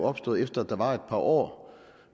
opstået efter at der var et par år